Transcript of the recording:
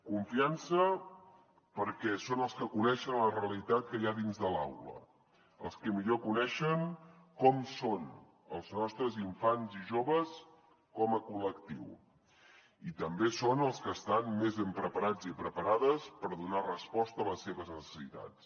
confiança perquè són els que coneixen la realitat que hi ha dins de l’aula els que millor coneixen com són els nostres infants i joves com a col·lectiu i també són els que estan més ben preparats i preparades per donar resposta a les seves necessitats